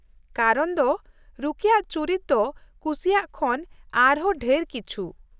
ᱠᱟᱨᱚᱱ ᱫᱚ ᱨᱚᱠᱤᱭᱟᱜ ᱪᱩᱨᱤᱛ ᱫᱚ ᱠᱩᱥᱤᱭᱟᱜ ᱠᱷᱚᱱ ᱟᱨᱦᱚᱸ ᱰᱷᱮᱨ ᱠᱤᱪᱷᱩ ᱾